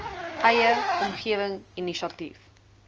eie omgewing inisiatief